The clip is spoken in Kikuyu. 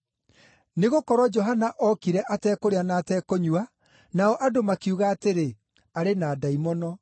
Nĩgũkorwo Johana ookire atekũrĩa na atekũnyua, nao andũ makiuga atĩrĩ, ‘Arĩ na ndaimono.’